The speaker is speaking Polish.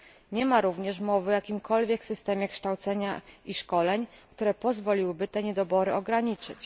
Nie ma również mowy o jakimkolwiek systemie kształcenia i szkoleń, które pozwoliłyby te niedobory ograniczyć.